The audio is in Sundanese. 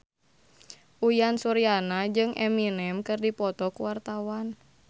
Uyan Suryana jeung Eminem keur dipoto ku wartawan